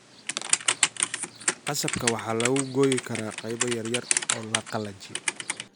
Qasabka waxaa lagu gooyi karaa qaybo yar yar oo la qalajiyaa.